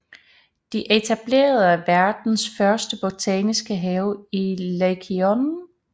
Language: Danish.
De etablerede verdens første botaniske have i Lykeion